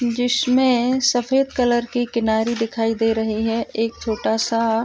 जिसमें सफेद कलर की किनारी दिखई दे रही है। एक छोटा सा --